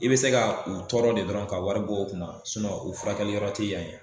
I bɛ se ka u tɔɔrɔ de dɔrɔn ka wari bɔ o kunna u furakɛliyɔrɔ tɛ yan ye.